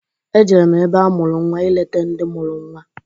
Ejere m ebe amụrụ nnwa ileta ndị mụrụ nnwa.